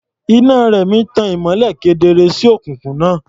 Iná Rẹ̀mí tan ìmọ́lẹ̀ kedere sí òkùnkùn náà.